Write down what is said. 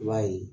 I b'a ye